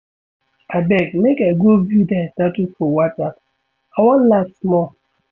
Abeg make I go view their Status for WhatsApp, I wan laugh small.